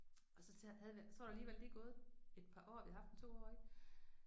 Og så havde så var der alligevel lige gået et par år vi havde haft den 2 år ik